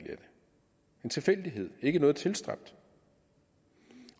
en tilfældighed ikke noget tilstræbt